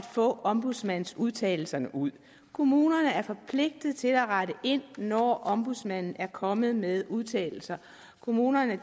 få ombudsmandens udtalelser ud kommunerne er forpligtede til at rette ind når ombudsmanden er kommet med udtalelser kommunerne